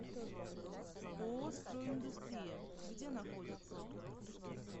ооо строй индустрия где находится